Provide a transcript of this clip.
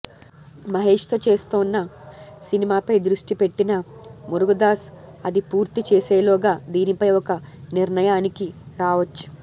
మహేష్తో చేస్తోన్న సినిమాపై దృష్టి పెట్టిన మురుగదాస్ అది పూర్తి చేసేలోగా దీనిపై ఒక నిర్ణయానికి రావచ్చు